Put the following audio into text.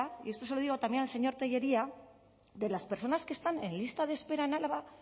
y esto se lo digo también al señor tellería de las personas que están en lista de espera en álava